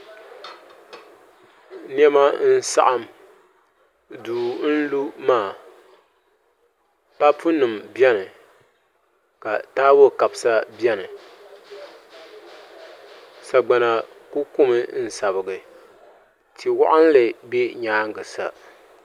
Niɛma n saɣam duu n lu maa papu nim biɛni ka taabo kabisa biɛni sagbana ku kumi n sabigi tia waɣanli bɛ nyaangi sa